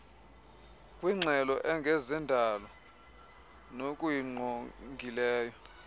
kwingxelo engezendalo nokuyingqongileyo